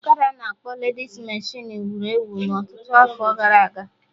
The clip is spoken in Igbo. ọkada a na-akpọ ledis meshịn wuru ewu na ọtụtụ afọ gara aga